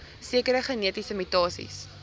sekere genetiese mutasies